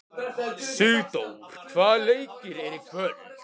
Sigdór, hvaða leikir eru í kvöld?